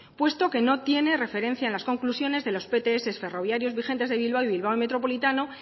puesto que no tiene referencia en las conclusiones de los pts ferroviarios vigentes de bilbao y bilbao metropolitano